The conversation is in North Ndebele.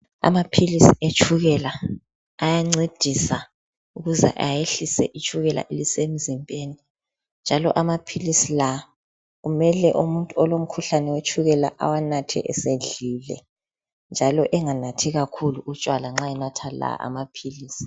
Amapilisi etshukela ayancedisa ukuze ayehlise itshukela elisemzimbeni njalo amapilisi la kumele umuntu olomkhuhlane wetshukela awanathe esedlile njalo enganathi kakhulu utshwala nxa enatha la amapilisi.